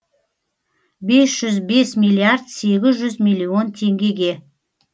бес жүз бес миллиард сегіз жүз миллион теңгеге